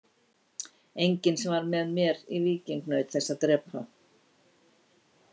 Enginn sem var með mér í víking naut þess að drepa.